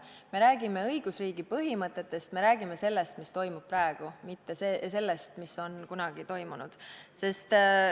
Me räägime õigusriigi põhimõtetest, me räägime sellest, mis toimub praegu, mitte sellest, mis on kunagi toimunud.